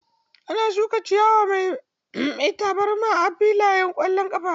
Ana shuka ciyawa mai tabarma a filayen ƙwallon ƙafa.